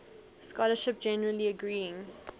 scholarship generally agreeing